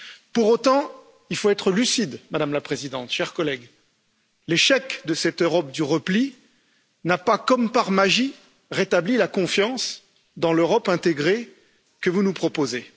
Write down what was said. Pour autant, il faut être lucide, Madame la Présidente, chers collègues l'échec de cette Europe du repli n'a pas, comme par magie, rétabli la confiance dans l'Europe intégrée que vous nous proposez.